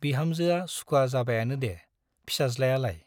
बिहामजोआ सुखुवा जाबायानो दे फिसाज्लायालाय ?